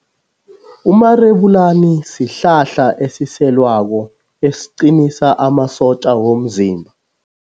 Umarebulani sihlahla esiselwako esiqinisa amasotja womzimba.